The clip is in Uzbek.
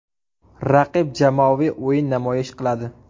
Raqib jamoaviy o‘yin namoyish qiladi.